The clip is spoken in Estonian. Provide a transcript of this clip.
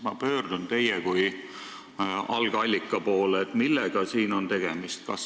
Ma pöördun teie kui algallika poole, et küsida, millega siin on tegemist olnud.